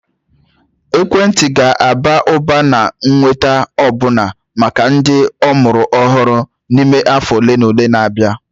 Ekwentị ga-aba ụba na ịnweta ọbụna maka ndị amụrụ ọhụrụ n'ime afọ ole na ole na-abịa